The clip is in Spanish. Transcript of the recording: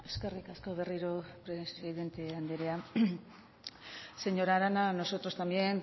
eskerrik asko berriro presidente andrea señora arana nosotros también